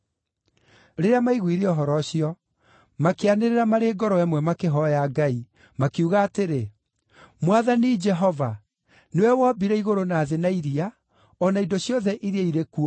Rĩrĩa maiguire ũhoro ũcio, makĩanĩrĩra marĩ ngoro ĩmwe makĩhooya Ngai, makiuga atĩrĩ, “Mwathani Jehova, nĩwe wombire igũrũ na thĩ na iria, o na indo ciothe iria irĩ kuo.